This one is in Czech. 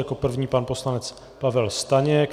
Jako první pan poslanec Pavel Staněk.